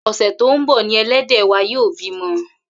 Ò̩sè̩ tó ń bò̩ ni e̩lé̩dè̩ wa yóò bímo̩